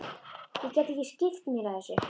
Ég get ekki skipt mér af þessu.